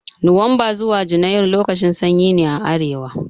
Nuwamba zuwa junairu lokacin sanyi ne a arewa